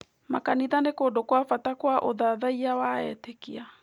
Makanitha nĩ kũndũ kwa bata kwa ũthathaiya wa etĩkia.